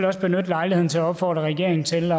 også benytte lejligheden til at opfordre regeringen til